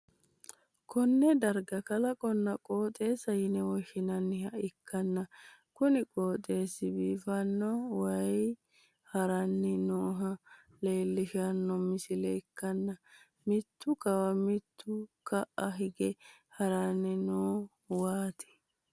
kinne darga kalaqonna qooxeessa yine woshshinanniha ikkanna, kuni qooxeessi biifanno waayi ha'ranni nooha leellishshanno misile ikkanna, mitu kawa mitu ka'a hige haranni no waati.